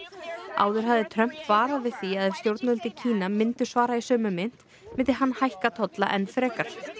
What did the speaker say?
áður hafði Trump varað við því að ef stjórnvöld í Kína myndu svara í sömu mynt myndi hann hækka tolla enn frekar